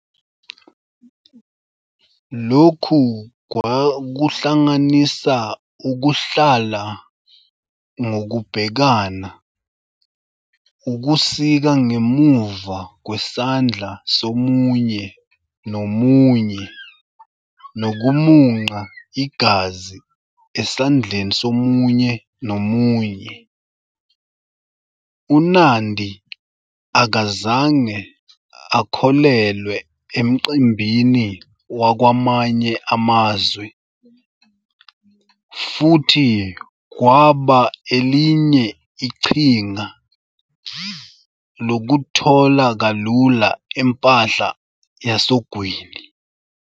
Lokhu kwakuhlanganisa ukuhlala ngokubhekana, ukusika ngemuva kwesandla somunye nomunye nokumunca igazi esandleni somunye nomunye. UNandi akazange akholelwe emcimbini wakwamanye amazwe, futhi kwaba elinye iqhinga lokuthola kalula impahla yasogwini.